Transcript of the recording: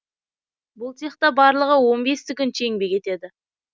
бұл цехта барлығы он бес тігінші еңбек етеді